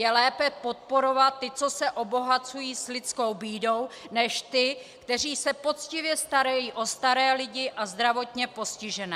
Je lépe podporovat ty, co se obohacují s lidskou bídou, než ty, kteří se poctivě starají o staré lidi a zdravotně postižené!